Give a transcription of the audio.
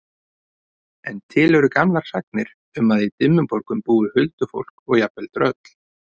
En til eru gamlar sagnir um að í Dimmuborgum búi huldufólk og jafnvel tröll.